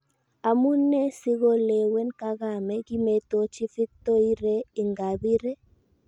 Amu nee sikolewen kagame kimetochi Victoire Ingabire?